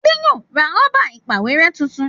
Ade yóò ra Rọ́bà ìpàwérẹ́ títún